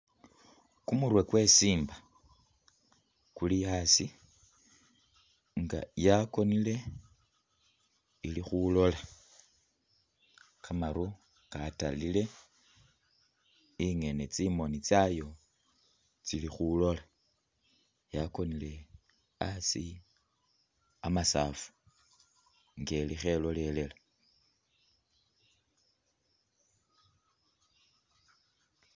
Kumurwe kwesimba kuli aasi nga yakonile, ili khulola kamaru katalile, ingene tsimoni tsayo tsili khulola yakonile asi amasaafu nga eli khelolelela